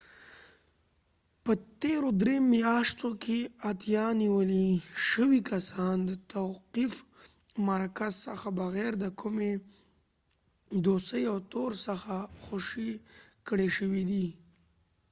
په تیرو درې میاشتو کښې اتیا نیول شوي کسان د توقیف مرکز څخه بغیر د کومي دوسیې او تور څخه خوشي کړي شوي دي